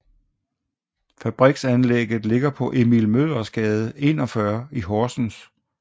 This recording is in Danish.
Fabriksanlægget ligger på Emil Møllers Gade 41 i Horsens